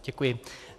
Děkuji.